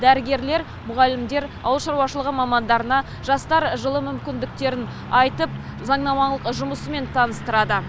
дәрігерлер мұғалімдер ауыл шаруашылығы мамандарына жастар жылы мүмкіндіктерін айтып заңнамалық жұмысымен таныстырады